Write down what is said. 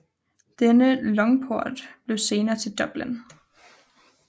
Denne longphort blev senere til Dublin